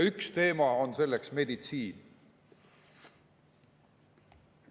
Üks teema on siin meditsiin.